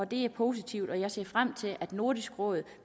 det er positivt og jeg ser frem til at nordisk råd